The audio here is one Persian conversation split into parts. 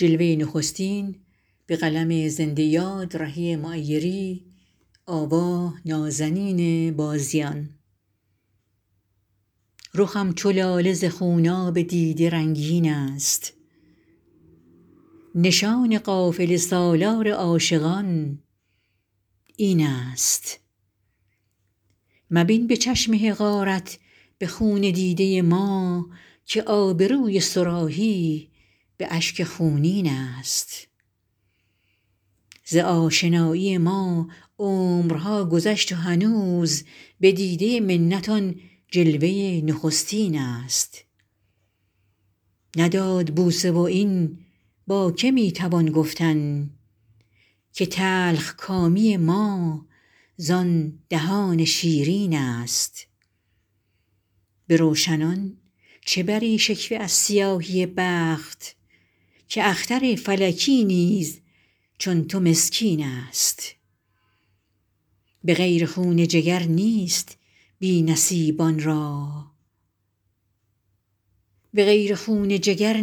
رخم چو لاله ز خوناب دیده رنگین است نشان قافله سالار عاشقان این است مبین به چشم حقارت به خون دیده ما که آبروی صراحی به اشک خونین است ز آشنایی ما عمرها گذشت و هنوز به دیده منت آن جلوه نخستین است نداد بوسه و این با که می توان گفتن که تلخ کامی ما زان دهان شیرین است به روشنان چه بری شکوه از سیاهی بخت که اختر فلکی نیز چون تو مسکین است به غیر خون جگر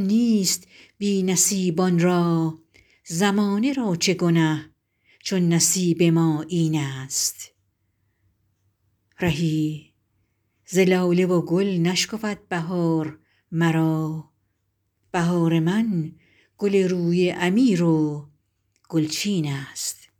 نیست بی نصیبان را زمانه را چه گنه چون نصیب ما این است رهی ز لاله و گل نشکفد بهار مرا بهار من گل روی امیر و گلچین است